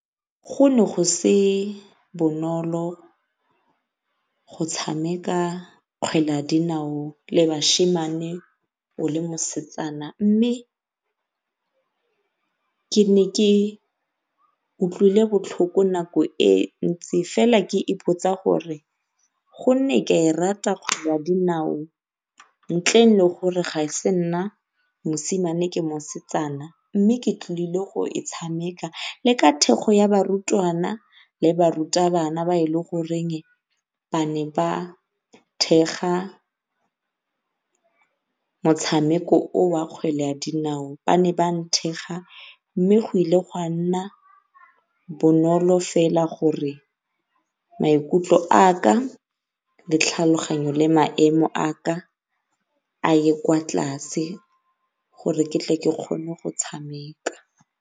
Go ne go se bonolo go tshameka kgwele ya dinao le o le mosetsana, mme ke ne ke utlwile botlhoko nako e ntsi fela ke ipotsa gore gonne ke a e rata kgwele ya dinao ntleng le gore ga e se nna mosimane ke mosetsana mme ke tlile go e tshameka. Le ka thekgo ya barutwana le barutabana ba e leng goreng ba ne ba thekga motshameko o o wa kgwele ya dinao ba ne ba nthekga, mme go ile ga nna bonolo fela gore maikutlo a ka le tlhaloganyo le maemo a ka a ye kwa tlase gore ke tle ke kgone go tshameka.